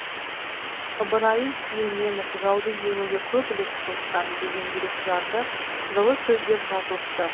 ыбырайым сүлейменов жауды жеңуге көп үлес қосқан деген жүрекжарды жылы сөздер жазылыпты